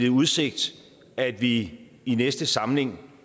i udsigt at vi i næste samling